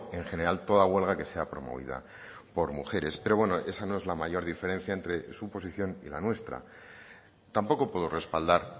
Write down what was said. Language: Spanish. en general toda huelga que sea promovida por mujeres pero bueno esa no es la mayor diferencia entre su posición y la nuestra tampoco puedo respaldar